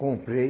Comprei.